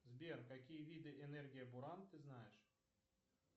сбер какие виды энергия буран ты знаешь